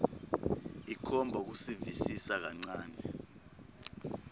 ikhomba kusivisisa kancane